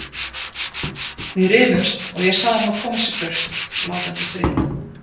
Við rifumst og ég sagði honum að koma sér burt og láta mig í friði.